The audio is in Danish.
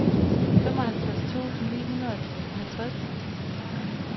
femoghalvtreds tusind ni hundrede og halvtreds